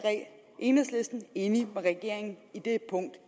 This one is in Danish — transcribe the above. enhedslisten enig med regeringen i det punkt